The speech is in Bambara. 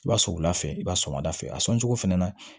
I b'a sɔ wula fɛ i b'a sɔmada fɛ a sɔncogo fɛnɛ na